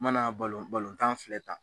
mana tan filɛ tan.